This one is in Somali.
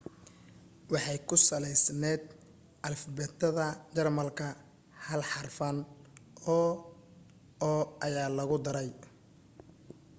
waxay ku salaysnayd alifbeetada jarmalka hal xarfan o/o ayaa lagu daray